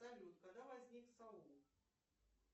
салют когда возник саул